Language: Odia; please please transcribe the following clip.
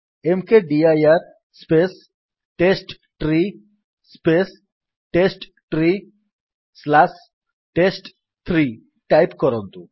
ମକଦିର space test tree space test tree slash test three type କରନ୍ତୁ